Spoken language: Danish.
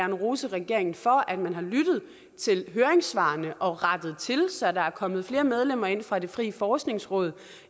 vil rose regeringen for at man har lyttet til høringssvarene og rettet til så der er kommet flere medlemmer ind fra det frie forskningsråd